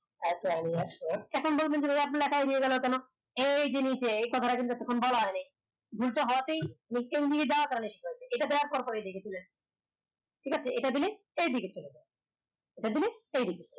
feai Sohan এখন বলবেন যে ভাইয়া এই এপ গুলা কাই হয়ে গেলো কেনো এই যে নিচে ভুলটা হয়াতে এটা দেওয়ার পর পর এই দিকে চলে আসলো ঠিক আছে এটা দিলে এই দিকে চলে যায় এটা দিলে এই দিকে